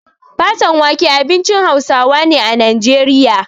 Fatan wake abincin Hausawa ne a Najeriya.